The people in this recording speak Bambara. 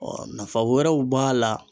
nafa wɛrɛw b'a la.